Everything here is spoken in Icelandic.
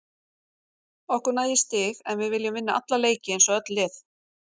Okkur nægir stig en við viljum vinna alla leiki eins og öll lið.